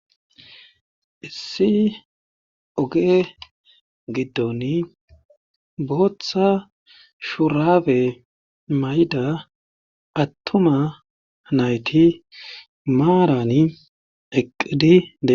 Issi oge giddon booththa shurabe mayda attuma nayti maarani eqqidie